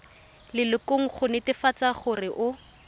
lelokong go netefatsa gore o